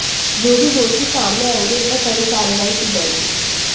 जो भी दोषी सामने आएंगे उन पर कड़ी कार्रवाई की जाएगी